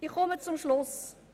Ich komme zum Schluss.